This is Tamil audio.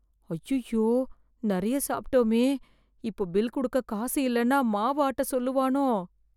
அய்யய்யோ நெறைய சாப்பிட்டோமே, இப்போ பில் குடுக்க காசு இல்லேன்னா மாவு ஆட்ட சொல்லுவானோ.